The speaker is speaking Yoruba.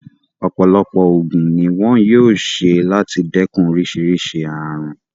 Ọ̀pọ̀lọpọ̀ ògùn ni wón yóò ṣe láti dẹ́kun oríṣìíríṣìí ààrùn.